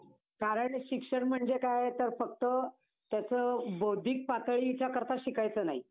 कारण शिक्षण म्हणजे काय तर फक्त ते असं बौद्धिक पातळीच्याकरता शिकायचं नाही.